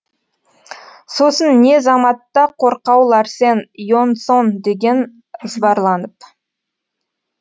сосын не заматта қорқау ларсен ионсон деген ызбарланып